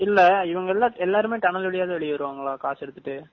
இல்ல இவங்க எல்லா எல்லாருமே டனல் வழியாதான் வெளிய வருவாங்களா காத்தடிச்சுட்டு.